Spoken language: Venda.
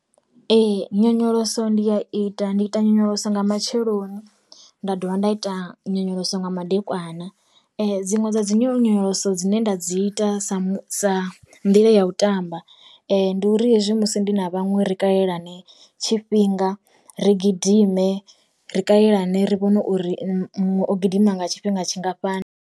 Ee nyonyoloso ndi a ita, ndi ita nyonyoloso nga matsheloni nda dovha nda ita nyonyoloso nga madekwana. Dziṅwe dza dzi nyonyoloso dzine nda dzi ita sa sa nḓila ya u tamba, ndi uri hezwi musi ndi na vhaṅwe ri kalelane tshifhinga, ri gidime, ri kalelane ri vhone uri muṅwe o gidima nga tshifhinga tshingafhani.